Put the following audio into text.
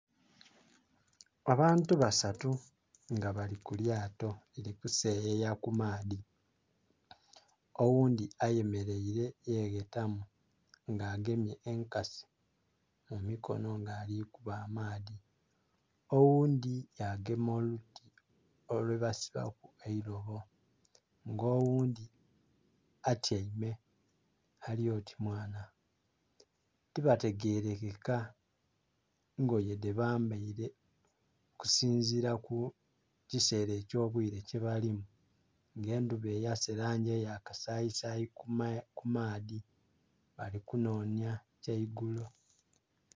Abantu basatu nga bali ku lyato bali kuseyeya ku maadhi, oghundhi ayemeleire yeghetamu nga agemye enkasi mu mikono nga ali kuba amaadhi oghundhi ya gema oluti lwe basibaku eilobo nga oghundhi atyaime, ali oti mwana. Tibategerekeka ngoye dhebambaile okusinziila ku kiseera eky'obwire kye balimu nga endhuba eyase langi eya kasayisayi ku maadhi, bali kunhonhya kya igulo.